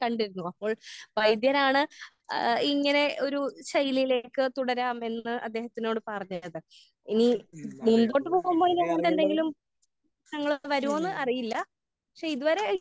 കണ്ടിരുന്നു. അപ്പോൾ വൈദ്യരാണ് ആഹ് ഇങ്ങനെ ഒരു ശൈലിയിലേക്ക് തുടരാമെന്ന് അദ്ദേഹത്തിനോട് പറഞ്ഞത്. ഈ ഇനി ബുദ്ധിമുട്ടെന്തെങ്കിലും തങ്ങൾക്ക് വരുമോന്ന് അറിയില്ല. പക്ഷെ ഇത് വരെ